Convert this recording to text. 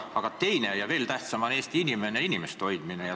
Aga veelgi tähtsam on Eesti inimeste hoidmine.